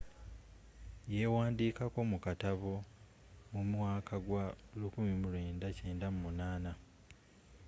y'ewandikako mu katabo mu mwaka gwa 1998